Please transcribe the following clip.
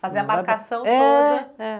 Fazer a marcação toda.